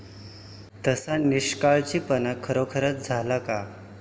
तसा निष्काळजीपणा खरोखरच झाला का?